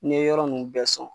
N'e yɔrɔ ninnu bɛɛ sɔn